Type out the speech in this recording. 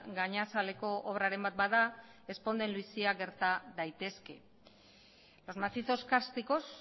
gainazaleko obraren bat bada ezponda bizia gerta daitezke los macizos cársticos